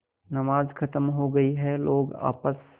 नमाज खत्म हो गई है लोग आपस